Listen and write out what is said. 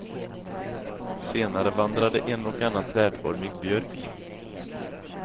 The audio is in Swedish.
Senare vandrade en och annan trädformig björk in.